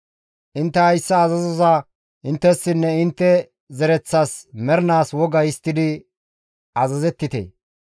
«Intte hayssa azazoza inttessinne intte zereththas mernaas woga histtidi azazettite.